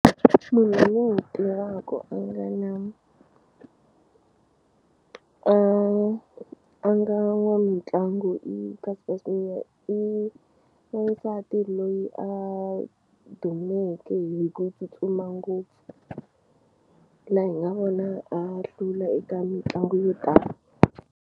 Munhu loyi ni n'wi tivaku a nga na a a nga n'wamitlangu i Cater Semenya i wansati loyi a dumeke hi ku tsutsuma ngopfu laha hi nga vona a hlula eka mitlangu yo tala.